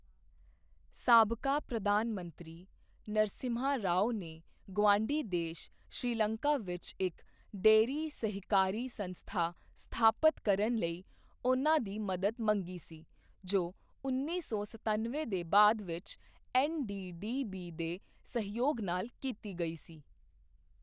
ਸਾਬਕਾ ਪ੍ਰਧਾਨ ਮੰਤਰੀ, ਨਰਸਿਮਹਾ ਰਾਓ ਨੇ ਗੁਆਂਢੀ ਦੇਸ਼ ਸ੍ਰੀਲੰਕਾ ਵਿੱਚ ਇੱਕ ਡੇਅਰੀ ਸਹਿਕਾਰੀ ਸੰਸਥਾ ਸਥਾਪਤ ਕਰਨ ਲਈ ਉਨ੍ਹਾਂ ਦੀ ਮਦਦ ਮੰਗੀ ਸੀ ਜੋ ਉੱਨੀ ਸੌ ਸਤਨਵੇਂ ਦੇ ਬਾਅਦ ਵਿੱਚ ਐੱਨ.ਡੀ.ਡੀ.ਬੀ ਦੇ ਸਹਿਯੋਗ ਨਾਲ ਕੀਤੀ ਗਈ ਸੀ।